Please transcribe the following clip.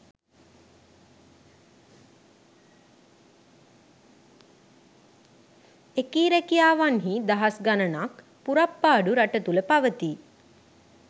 එකී රැකියාවන්හී දහස්ගණනක් පුරප්පාඩු රටතුළ පවතී